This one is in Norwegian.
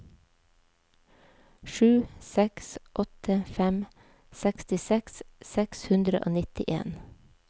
sju seks åtte fem sekstiseks seks hundre og nittien